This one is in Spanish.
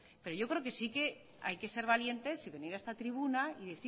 pero yo creo que sí hay que ser valiente y venir a esta tribuna y